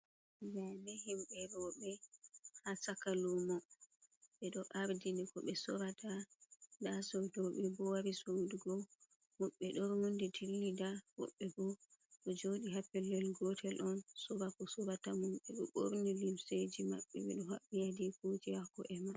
Ndaaɓe himɓɓe e roɓe ha chaka lumo ɓeɗo ardini ko ɓe sorata nda soɗoɓe bo wari sodugo woɓɓe ɗo rondi ɗilida woɓɓe bo ɗo joɗi ha ppellel gotel on sora ko sorata mum ɓeɗo ɓorni lumseji maɓɓe ɓedo haɓɓi adikoji ha ko'emaɓɓe.